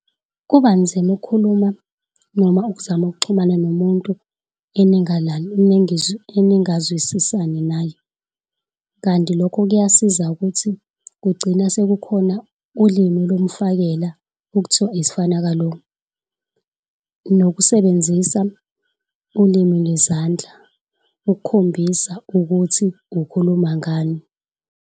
Kubanzima ukukhuluma noma ukuzama ukuxhumana nomuntu eningazwisisani naye. Kanti lokho kuyasiza ukuthi kugcina sekukhona ulimi lomfakela okuthiwa isifanakalo nokusebenzisa ulimi ngezandla, ukukhombisa ukuthi ukhuluma ngani.